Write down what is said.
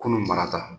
Kunun marata